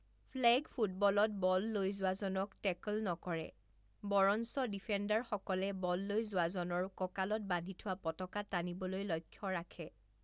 Flag ফুটবলত বল লৈ যোৱাজনক টেকল নকৰে; বৰঞ্চ ডিফেণ্ডাৰসকলে বল লৈ যোৱাজনৰ কঁকালত বান্ধি থোৱা পতাকা টানিবলৈ লক্ষ্য ৰাখে।